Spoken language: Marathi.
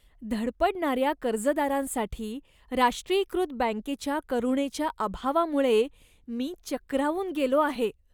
धडपडणाऱ्या कर्जदारांसाठी राष्ट्रीयीकृत बँकेच्या करुणेच्या अभावामुळे मी चक्रावून गेलो आहे.